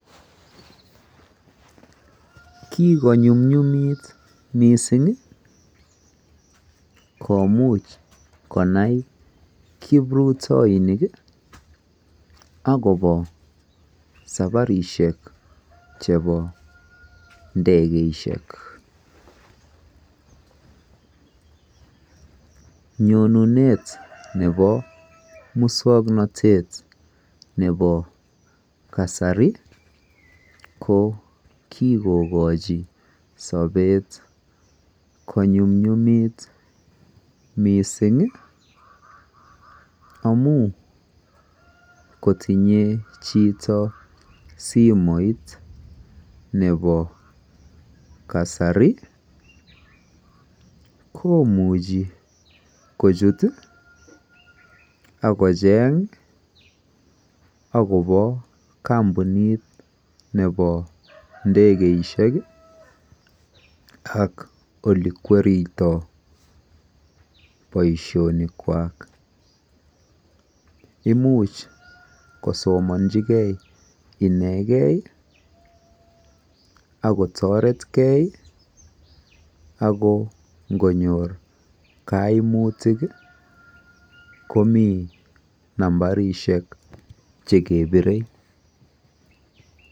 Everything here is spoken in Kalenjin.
Kikonyunyumiit missing ii komuchei konai kiprutainik agobo saparisheek chebo ndegeisiek nyonuneet nebo musangnatet nebo kasari ii ko kikochi sabeet ko nyumnyumit missing ii amuun kotinyei chitoo simoit nebo kasari ii komuchii kochuut ii agocheeng agobo kampunit nebo ndegeisiek ii ak ole kweritoi boisonik kwak imuuch kosomanji gei inekei ii ako tareet gei ako ingonyoor kaimutiik ii komii nambarisheek chekebirei.